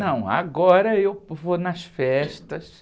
Não, agora eu vou nas festas.